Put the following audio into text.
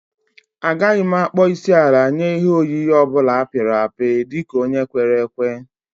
Agaghị m akpọ isiala nye ihe oyiyi ọ bụla a pịrị apị dị ka onye kwere ekwe